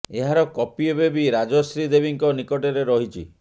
ଏହାର କପି ଏବେ ବି ରାଜଶ୍ରୀ ଦେବୀଙ୍କ ନିକଟରେ ରହିଛି